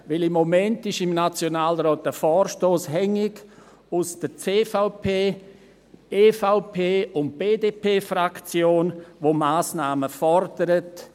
Denn im Moment ist im Nationalrat ein Vorstoss aus der CVP-, EVP- und BDP-Fraktion hängig, der Massnahmen fordert.